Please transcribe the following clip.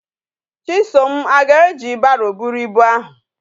Chisom a ga eji barrow buru ibu ahu?